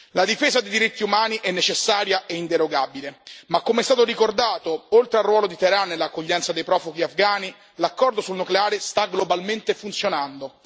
La difesa dei diritti umani è necessaria e inderogabile, ma come è stato ricordato, oltre al ruolo di Teheran nell'accoglienza dei profughi afghani, l'accordo sul nucleare sta globalmente funzionando.